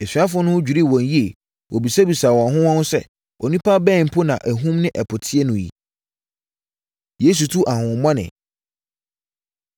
Asuafoɔ no ho dwirii wɔn yie. Wɔbisabisaa wɔn ho wɔn ho sɛ, “Onipa bɛn mpo ni a ahum ne ɛpo tie no yi?” Yesu Tu Ahonhommɔne